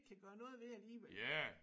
Kan gøre noget ved alligevel